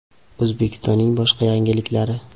O‘zbekistonning boshqa yangiliklari.